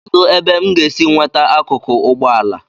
kedu ebe m ga-esi nweta akụkụ ụgbọ ala